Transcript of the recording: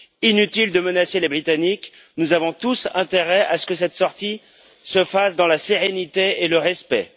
Inutile de menacer les Britanniques, nous avons tous intérêt à ce que cette sortie se fasse dans la sérénité et le respect.